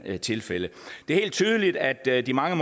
her tilfælde det er helt tydeligt at de mange